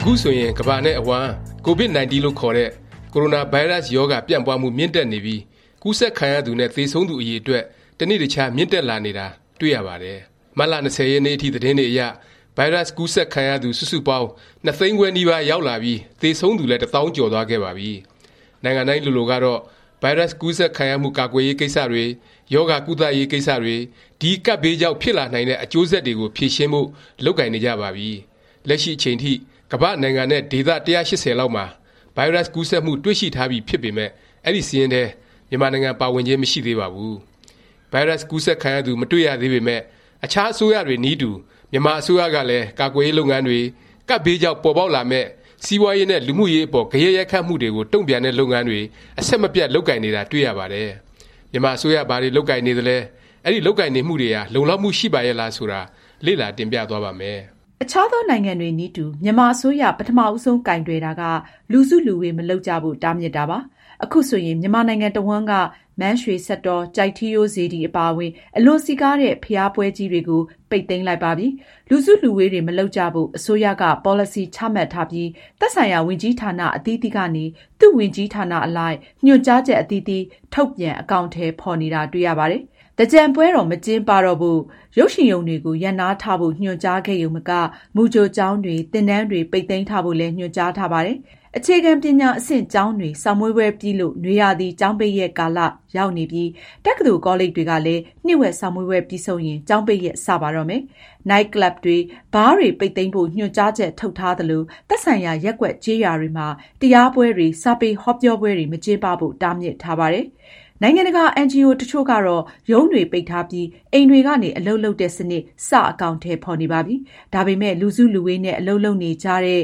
အခုဆိုရင် ကမ္ဘာနဲ့အဝှမ်း COVID- 19 လို့ခေါ်တဲ့ ကိုရိုနာဗိုင်းရပ်စ် ရောဂါ ပြန့်ပွားမှု မြင့်တက်နေပြီး ကူးစက်ခံရသူနဲ့ သေဆုံးသူ အရည်အတွက် တနေ့တခြား မြင့်တက်လာနေတာ တွေ့ရှိရပါတယ်။ မတ်လ ၂၀ ရက်နေ့အထိ သတင်းတွေအရ ဗိုင်းရပ်စ် ကူးစက်ခံရသူ စုစုပေါင်း ၂ သိန်းခွဲ နီးပါး ရောက်လာပြီး သေဆုံးသူလည်း တစ်သောင်းကျော်သွားခဲ့ပါပြီ။ နိုင်ငံတိုင်းလိုလိုကတော့ ဗိုင်းရပ်စ် ကူးစက်ခံရမှု ကာကွယ်ရေး ကိစ္စတွေ၊ ရောဂါ ကုသရေး ကိစ္စတွေ၊ ဒီ ကပ်ဘေးကြောင့် ဖြစ်လာနိုင်တဲ့ အကျိုးဆက်တွေကို ဖြေရှင်းဖို့ လုပ်ကိုင်နေကြပါပြီ။ လက်ရှိ အချိန်ထိ ကမ္ဘာ့ နိုင်ငံနဲ့ ဒေသ ၁၈၀ လောက်မှာ ဗိုင်းရပ်စ် ကူးစက်မှု တွေ့ရှိထားပြီ ဖြစ်ပေမယ့် အဲဒီ စာရင်းထဲ မြန်မာနိုင်ငံ ပါဝင်ခြင်း မရှိသေးပါဘူး။ ဗိုင်းရပ်စ် ကူးစက်ခံရသူ မတွေ့ရသေးပေမယ့် အခြား အစိုးရတွေနည်းတူ မြန်မာ အစိုးရကလည်း ကာကွယ်ရေး လုပ်ငန်းတွေ၊ ကပ်ဘေးကြောင့် ပေါ်ပေါက်လာမယ့် စီးပွားရေးနဲ့ လူမှုရေး အပေါ် ဂယက်ရိုက်ခတ်မှုတွေကို တုန့်ပြန်တဲ့ လုပ်ငန်းတွေ အဆက်မပြတ် လုပ်ကိုင်နေတာ တွေ့ရပါတယ်။ မြန်မာ အစိုးရ ဘာတွေ လုပ်ကိုင်နေသလဲ၊ အဲဒီ လုပ်ကိုင်နေမှုတွေဟာ လုံလောက်မှု ရှိပါရဲ့လား ဆိုတာ လေ့လာ တင်ပြသွားပါ့မယ်။ အခြားသော နိုင်ငံတွေနည်းတူ မြန်မာ အစိုးရ ပထမဦးဆုံး ကိုင်တွယ်တာက လူစုလူဝေး မလုပ်ကြဖို့ တားမြစ်တာပါ။ အခုဆိုရင် မြန်မာနိုင်ငံတစ်ဝှမ်းက မန်းရွှေစက်တော်၊ ကျိုက်ထီးရိုး စေတီ အပါအဝင် အလွန်စည်ကားတဲ့ ဘုရားပွဲကြီးတွေကို ပိတ်သိမ်းလိုက်ပါပြီ။ လူစုလူဝေးတွေ မလုပ်ကြဖို့ အစိုးရက ပေါ်လစီ ချမှတ်ထားပြီး သက်ဆိုင်ရာ ဝန်ကြီးဌာန အသီးသီးကနေ သူ့ဝန်ကြီးဌာနအလိုက် ညွှန်ကြားချက် အသီးသီး ထုတ်ပြန် အကောင်အထည် ဖော်နေတာ တွေ့ရပါတယ်။ သင်္ကြန်ပွဲတော် မကျင်းပတော့ဖို့၊ ရုပ်ရှင်ရုံတွေကို ရပ်နားထားဖို့ ညွှန်ကြားခဲ့ရုံမက မူကြိုကျောင်းတွေ၊ သင်တန်းတွေ ပိတ်သိမ်းထားဖို့လည်း ညွှန်ကြားထားပါတယ်။ အခြေခံ ပညာအဆင့် ကျောင်းတွေ စာမေးပွဲပြီးလို့ နွေရာသီကျောင်းပိတ်ရက် ကာလ ရောက်နေပြီး တက္ကသိုလ် ကောလိပ်တွေကလည်း နှစ်ဝက် စာမေးပွဲပြီးဆုံးရင် ကျောင်းပိတ်ရက် စပါတော့မယ်။ နိုက်ကလပ်တွေ၊ ဘားတွေ ပိတ်သိမ်းဖို့ ညွှန်ကြားချက် ထုတ်ထားသလို၊ သက်ဆိုင်ရာ ရပ်ကွက် ကျေးရွာတွေမှာ တရားပွဲတွေ၊ စာပေ ဟောပြောပွဲတွေ မကျင်းပဖို့ တားမြစ်ထားပါတယ်။ နိုင်ငံတကာ အင်န်ဂျီအို တစ်ချို့ကတော့ ရုံးတွေ ပိတ်ထားပြီး အိမ်တွေကနေ အလုပ်လုပ်တဲ့ စနစ် စ အကောင်အထည် ဖော်နေပါပြီ။ ဒါပေမယ့် လူစုလူဝေးနဲ့ အလုပ်လုပ်နေကြတဲ့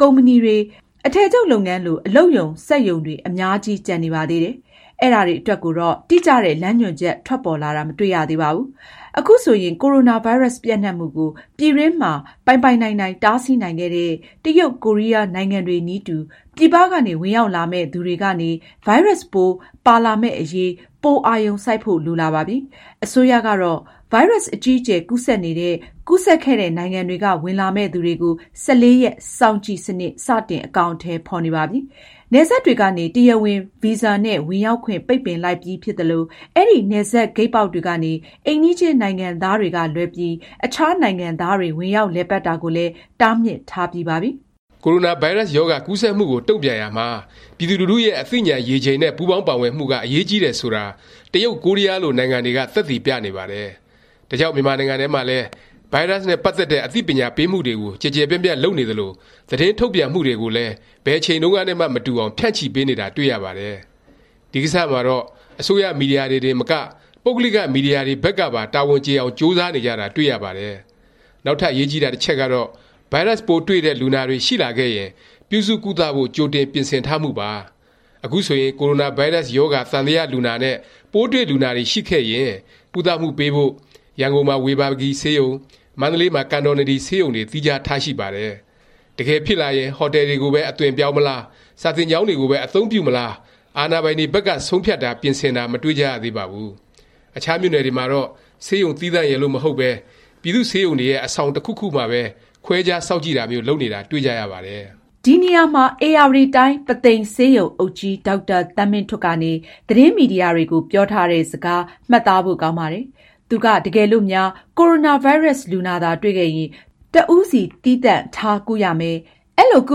ကုမ္ပဏီတွေ၊ အထည်ချုပ်လုပ်ငန်းလို အလုပ်ရုံ၊ စက်ရုံတွေ အများကြီး ကျန်နေပါသေးတယ်။ အဲဒါတွေ အတွက်ကိုတော့ တိကျတဲ့ လမ်းညွှန်ချက် ထွက်ပေါ်လာတာ မတွေ့ရသေးပါဘူး။ အခုဆိုရင် ကိုရိုနာဗိုင်းရပ်စ် ပျံ့နှံ့မှုကို ပြည်တွင်းမှာ ပိုင်ပိုင်နိုင်နိုင် တားဆီးနိုင်ခဲ့တဲ့ တရုတ်၊ ကိုရီးယား နိုင်ငံတွေနည်းတူ ပြည်ပကနေ ဝင်ရောက်လာမယ့် သူတွေကနေ ဗိုင်းရပ်စ်ပိုး ပါလာမယ့် အရေး ပို အာရုံစိုက်ဖို့ လိုလာပါပြီ။ အစိုးရကတော့ ဗိုင်းရပ်စ် အကြီးအကျယ် ကူးစက်နေတဲ့၊ ကူးစက်ခဲ့တဲ့ နိုင်ငံတွေက ဝင်လာမယ့်သူတွေကို ၁၄ ရက် စောင့်ကြည့်စနစ် စတင်အကောင်အထည် ဖော်နေပါပြီ။ နယ်စပ်တွေကနေ တရားဝင် ဗီဇာနဲ့ ဝင်ရောက်ခွင့် ပိတ်ပင်လိုက်ပြီး ဖြစ်သလို၊ အဲဒီ နယ်စပ်ဂိတ်ပေါက်တွေကနေ အိမ်နီးချင်း နိုင်ငံသားတွေကလွဲပြီး အခြားနိုင်ငံသားတွေ ဝင်ရောက်လည်ပတ်တာကိုလည်း တားမြစ်ထားပြီးပါပြီ။ ကိုရိုနာ ဗိုင်းရပ်စ် ရောဂါ ကူးစက်မှုကို တုန့်ပြန်ရာမှာ ပြည်သူလူထုရဲ့ အသိဉာဏ်ရေချိန် နဲ့ ပူးပေါင်းပါဝင်မှုက အရေးကြီးတယ် ဆိုတာ တရုတ်၊ ကိုရီးယားလို နိုင်ငံတွေက သက်သေပြနေပါတယ်။ ဒါကြောင့် မြန်မာနိုင်ငံထဲမှာလည်း ဗိုင်းရပ်စ်နဲ့ ပတ်သက်တဲ့ အသိပညာပေးမှုတွေကို ကျယ်ကျယ်ပြန့်ပြန့် လုပ်နေသလို၊ သတင်းထုတ်ပြန်မှုတွေကိုလည်း ဘယ်အချိန်တုန်းကနဲ့မှ မတူအောင် ဖြန့်ချီပေးနေတာ တွေ့ရပါတယ်။ ဒီ ကိစ္စမှာတော့ အစိုးရ မီဒီယာတွေတင်မက ပုဂ္ဂလိက မီဒီယာတွေဘက်ကပါ တာဝန်ကျေအောင် ကြိုးစားနေကြတာ တွေ့ရပါတယ်။ နောက်ထပ် အရေးကြီးတာ တစ်ချက်ကတော့ ဗိုင်းရပ်စ်ပိုး တွေ့တဲ့ လူနာတွေ ရှိလာခဲ့ရင် ပြုစုကုသဖို့ ကြိုတင်ပြင်ဆင်ထားမှုပါ။ အခုဆိုရင် ကိုရိုနာ ဗိုင်းရပ်စ် ရောဂါ သံသယ လူနာနဲ့ ပိုးတွေ့လူနာတွေ ရှိခဲ့ရင် ကုသမှုပေးဖို့ ရန်ကုန်မှာ ဝေဘာဂီဆေးရုံ၊ မန္တလေးမှာ ကန်တော်နဒီ ဆေးရုံတွေ သီးခြားထားရှိပါတယ်။ တကယ်ဖြစ်လာရင် ဟိုတယ်တွေကိုပဲ အသွင်ပြောင်းမလား၊ စာသင်ကျောင်းတွေကိုပဲ အသုံးပြုမလား အာဏာပိုင်တွေဘက်က ဆုံးဖြတ်တာ၊ ပြင်ဆင်တာ မတွေ့ကြရသေးပါဘူး။ အခြားမြို့နယ်တွေမှာတော့ ဆေးရုံသီးသန့်ရယ်လို့ မဟုတ်ပဲ ပြည်သူ့ဆေးရုံတွေရဲ့ အဆောင် တစ်ခုခုမှာပဲ ခွဲခြား စောင့်ကြည့်တာမျိုး လုပ်နေတာ တွေ့ကြရပါတယ်။ ဒီနေရာမှာ ဧရာဝတီတိုင်း ပုသိမ်ဆေးရုံအုပ်ကြီး ဒေါက်တာ သန်းမင်းထွဋ် ကနေ သတင်းမီဒီယာတွေကို ပြောထားတဲ့ စကား မှတ်သားဖို့ ကောင်းပါတယ်။ သူက တကယ်လို့များ ကိုရိုနာ ဗိုင်းရပ်စ် လူနာသာ တွေ့ခဲ့ရင် တစ်ဦးစီ သီးသန့်ထား ကုရမယ်၊ အဲလို ကု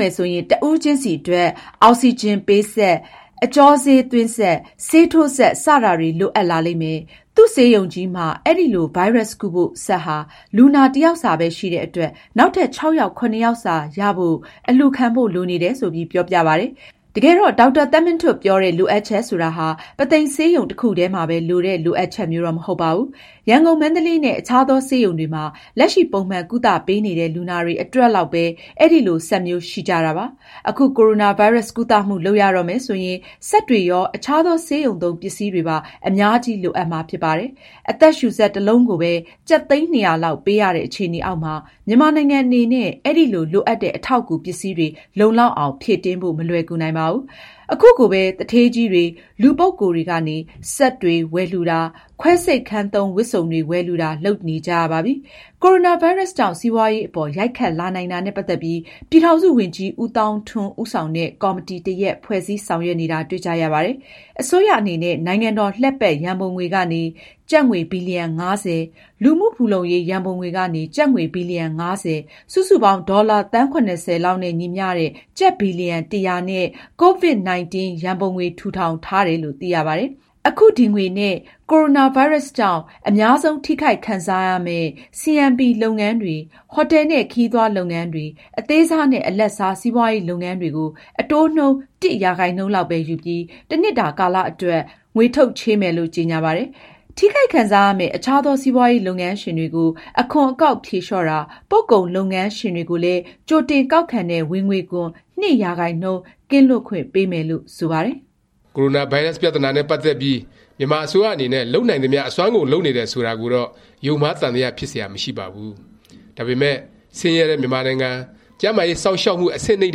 မယ်ဆိုရင် တစ်ဦးချင်းစီ အတွက် အောက်စီဂျင်ပေးစက်၊ အကြောဆေးသွင်းစက်၊ ဆေးထိုးစက် စတာတွေ လိုအပ်လာလိမ့်မယ်၊ သူ့ဆေးရုံကြီးမှာ အဲလို ဗိုင်းရပ်စ် ကုဖို့ စက်ဟာ လူနာတစ်ယောက်စာပဲ ရှိတဲ့အတွက် နောက်ထပ ်၆ ယောက် ၇ ယောက်စာလောက် ရဖို့ အလှူခံဖို့ လိုနေတယ် ဆိုပြီး ပြောပြပါတယ်။ တကယ်တော့ ဒေါက်တာသန်းမင်းထွဋ် ပြောတဲ့ လိုအပ်ချက် ဆိုတာဟာ ပုသိမ်ဆေးရုံ တစ်ခုထဲမှာပဲ လိုတဲ့ လိုအပ်ချက်မျိုးတော့ မဟုတ်ပါဘူး။ ရန်ကုန်၊ မန္တလေး နဲ့ အခြားသော ဆေးရုံတွေမှာ လက်ရှိ ပုံမှန်ကုသပေးနေတဲ့ လူနာတွေ အတွက်လောက်ပဲ အဲလို စက်မျိုး ရှိကြတာပါ။ အခု ကိုရိုနာဗိုင်းရပ်စ် ကုသမှု လုပ်ရတော့မယ် ဆိုရင် စက်တွေရော၊ အခြားသော ဆေးရုံသုံး ပစ္စည်းတွေပါ အများကြီး လိုအပ်မှာ ဖြစ်ပါတယ်။ အသက်ရှူစက် တစ်လုံးကိုပဲ ကျပ်သိန်း ၂၀၀ လောက် ပေးရတဲ့ အခြေအနေအောက်မှာ မြန်မာနိုင်ငံအနေနဲ့ အဲလို လိုအပ်တဲ့ အထောက်အကူ ပစ္စည်းတွေ လုံလောက်အောင် ဖြည့်တင်းဖို့ မလွယ်ကူနိုင်ပါဘူး။ ခုကိုပဲ သူဌေးကြီးတွေ၊ လူပုဂ္ဂိုလ်တွေကနေ စက်ဝယ်လှူတာ၊ ခွဲစိတ်ခန်းသုံး ဝတ်စုံတွေ ဝယ်လှူတာ လုပ်နေကြရပါပြီ။ကိုရိုနာဗိုင်းရပ်စ်ကြောင့် စီးပွားရေးအပေါ် ရိုက်ခတ်လာနိုင်တာနဲ့ ပတ်သက်ပြီး ပြည်ထောင်စု ဝန်ကြီး ဦးသောင်းထွန်း ဦးဆောင်တဲ့ ကော်မတီတစ်ရပ် ဖွဲ့စည်းဆောင်ရွက်နေတာ တွေ့ကြရပါတယ်။ အစိုးရအနေနဲ့ နိုင်ငံတော် လှည့်ပတ် ရံပုံငွေကနေ ကျပ်ငွေ ဘီလျံ ၅၀၊ လူမှုဖူလှုံရေး ရံပုံငွေကနေ ကျပ်ငွေ ဘီလျံ ၅၀၊ စုစုပေါင်း ဒေါ်လာ သန်း ၇၀ လောက်နဲ့ ညီမျှတဲ့ ကျပ် ဘီလျံ ၁၀၀ နဲ့ Covid 19 Fund ထူထောင်ထားတယ် လို့ သိရပါတယ်။ အခု ဒီ ငွေနဲ့ ကိုရိုနာဗိုင်းရပ်စ်ကြောင့် အများဆုံး ထိခိုက်ခံစားရမယ့် CMP လုပ်ငန်းတွေ၊ ဟိုတယ်နဲ့ ခရီးသွားလုပ်ငန်းတွေ၊ အသေးစားနဲ့ အလတ်စား စီးပွားရေး လုပ်ငန်းတွေကို အတိုးနှုန်း တစ်ရာခိုင်နှုန်းလောက်ပဲ ယူပြီး တစ်နှစ်တာ ကာလ အတွက် ငွေထုတ်ချေးမယ်လို့ ကြေငြာပါတယ်။ ထိခိုက်ခံစားရမယ့် အခြားသော စီးပွားရေး လုပ်ငန်းရှင်တွေကို အခွန်အကောက် ဖြေလျော့တာ၊ ပို့ကုန်လုပ်ငန်းရှင်တွေကိုလည်း ကြိုတင်ကောက်ခံတဲ့ ဝင်ငွေခွန် ၂ ရာခိုင်နှုန်း ကင်းလွတ်ခွင့်ပေးမယ်လို့ ဆိုပါတယ်။ ကိုရိုနာ ဗိုင်းရပ်စ် ပြသနာနဲ့ ပတ်သက်ပြီး မြန်မာအစိုးရ အနေနဲ့ လုပ်နိုင်သမျှ အစွမ်းကုန် လုပ်နေတယ် ဆိုတာကိုတော့ ယုံမှားသံသယ ဖြစ်စရာ မရှိပါဘူး။ ဒါပေမယ့် ဆင်းရဲတဲ့ မြန်မာနိုင်ငံ၊ ကျန်းမာရေး စောင့်ရှောက်မှု အဆင့်နိမ့်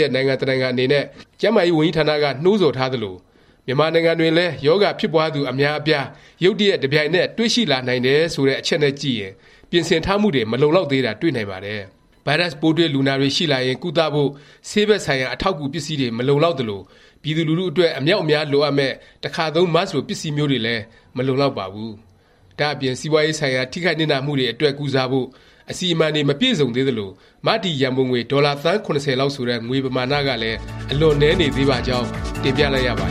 တဲ့ နိုင်ငံ တစ်နိုင်ငံ အနေနဲ့ ကျန်းမာရေး ဝန်ကြီးဌာနက နှိုးဆော်ထားသလို “ မြန်မာနိုင်ငံတွင်လည်း ရောဂါဖြစ်ပွားသူ အများအပြား ရုတ်တရက် တပြိုင်နက် တွေ့ရှိလာနိုင်တယ်” ဆိုတဲ့ အချက်နဲ့ ကြည့်ရင် ပြင်ဆင်ထားမှုတွေ မလုံလောက်သေးတာ တွေ့နိုင်ပါတယ်။ ဗိုင်းရပ်စ် ပိုးတွေ့ လူနာတွေ ရှိလာရင် ကုသဖို့ ဆေးဘက်ဆိုင်ရာ အထောက်အကူ ပစ္စည်းတွေ မလုံလောက်သလို၊ ပြည်သူလူထု အတွက် အမြောက်အများ လိုအပ်မယ့် တခါသုံး မတ်စ် လို ပစ္စည်းမျိုးတွေလည်း မလုံလောက်ပါဘူး။ ဒါ့အပြင် စီးပွားရေးဆိုင်ရာ ထိခိုက်နစ်နာမှုတွေ အတွက် ကုစားဖို့ အစီအမံတွေ မပြည့်စုံသေးသလို၊ မတည်ရံပုံငွေ ဒေါ်လာသန်း ၇၀ လောက် ဆိုတဲ့ ငွေပမာဏကလည်း အလွန် နည်းနေသေးပါကြောင်း တင်ပြလိုက်ရပါ